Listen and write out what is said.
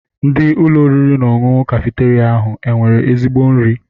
Ndị Ụlọ oriri na ọṅụṅụ kafeteria ahụ enwere ezigbo nri?